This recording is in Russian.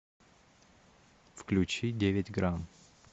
включи девять грамм